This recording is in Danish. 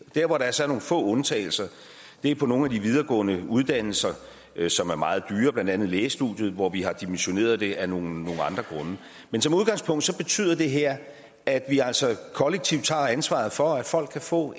der hvor der så er nogle få undtagelser er på nogle af de videregående uddannelser som er meget dyre blandt andet lægestudiet hvor vi har dimensioneret det af nogle andre grunde men som udgangspunkt betyder det her at vi altså kollektivt tager ansvaret for at folk kan få